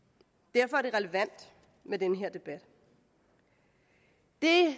derfor er det relevant med den her debat det